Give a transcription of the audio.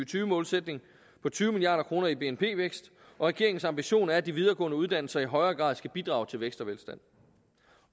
tyve målsætning på tyve milliard kroner i bnp vækst og regeringens ambition er at de videregående uddannelser i højere grad skal bidrage til vækst og velstand